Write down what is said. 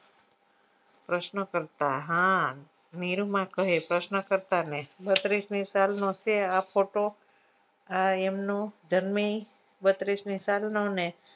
પ્રશ્નો કરતા હા નીરુમાં કહે પ્રશ્નો કરતા ને બત્રીસની સાલનું છે તો આ એમનું જન્મ એ બત્રીસની સાલનું ને